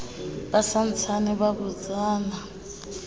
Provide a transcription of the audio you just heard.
ba sa ntsaneng ba botsana